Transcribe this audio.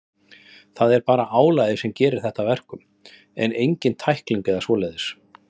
Það er bara álagið sem gerir þetta að verkum, en engin tækling eða svoleiðis.